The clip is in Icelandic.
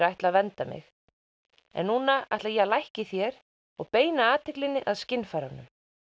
ætla að vernda mig en núna ætla ég að lækka í þér og beina athyglinni að skynfærunum